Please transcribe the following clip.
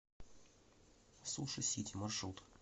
суши сити маршрут